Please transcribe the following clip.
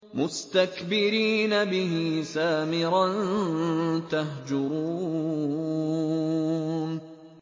مُسْتَكْبِرِينَ بِهِ سَامِرًا تَهْجُرُونَ